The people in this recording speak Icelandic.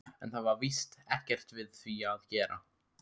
En það var víst ekkert við því að gera.